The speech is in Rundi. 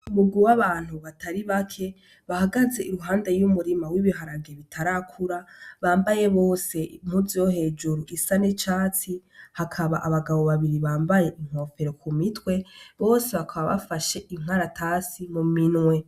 Bugu b'abantu batari bake bahagaze iruhande y'umurima w'ibiharange bitarakura bambaye bose muzo hejuru isa necatsi hakaba abagabo babiri bambaye inkofero ku mitwe bose hakaba bafashe inkaratasi mu minwe.